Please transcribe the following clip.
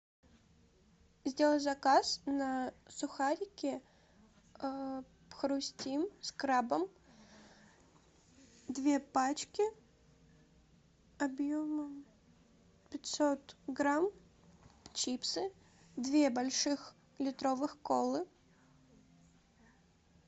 сделай заказ на сухарики хрустим с крабом две пачки объемом пятьсот грамм чипсы две больших литровых колы